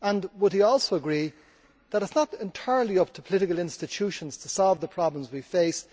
Would he also agree that it is not entirely up to political institutions to solve the problems we face?